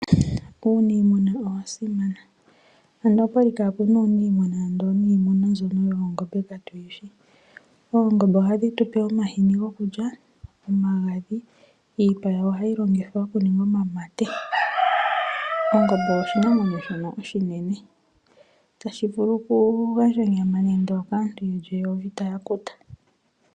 Uuniimuna owa simana, ando okwa li kaaku na uuniimuna ando niimuna mbyono yoongombe katu yi shi. Oongombe ohadhi tu pe omahini gokulya, omagadhi, iipa yawo ohayi longithwa okuninga omamate. Ongombe oshinamwenyo shono oshinene, tashi vulu oku gandja onyama nande okaantu yeli eyovi, taya kuta.